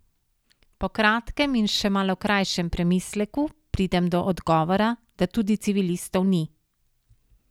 Po kratkem in še malo krajšem premisleku pridem do odgovora, da tudi civilistov ni.